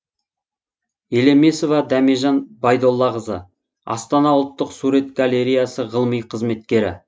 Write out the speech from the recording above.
елемесова дәмежан байдоллақызы астана ұлттық сурет галереясы ғылыми қызметкері